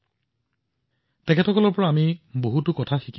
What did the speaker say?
তেওঁ এই পৰ্যন্ত শ শ কিলো প্লাষ্টিকৰ আৱৰ্জনা আৰু লেতেৰা পৰিষ্কাৰ কৰিছে